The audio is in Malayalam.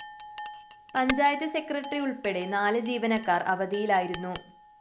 പഞ്ചായത്ത് സെക്രട്ടറി ഉള്‍പ്പടെ നാല് ജീവനക്കാര്‍ അവധിയിലായിരുന്നു